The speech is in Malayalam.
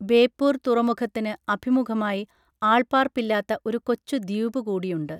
ബേപ്പൂർ തുറമുഖത്തിന് അഭിമുഖമായി ആൾപ്പാർപ്പില്ലാത്ത ഒരു കൊച്ചു ദ്വീപുകൂടിയുണ്ട്